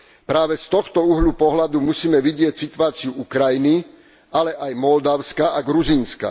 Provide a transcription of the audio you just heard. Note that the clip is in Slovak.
Práve z tohto uhla pohľadu musíme vidieť situáciu Ukrajiny, ale aj Moldavska a Gruzínska.